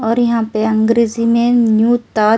और यहां पे अंग्रेजी में न्यूता--